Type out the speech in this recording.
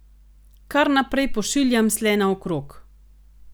Kar naprej pošiljam sle naokrog.